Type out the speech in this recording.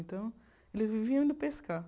Então, eles viviam indo pescar.